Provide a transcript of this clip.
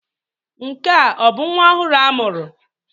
Nke a ọ bụ nwa ọhụrụ a mụrụ?